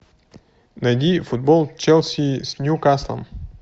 найди футбол челси с ньюкаслом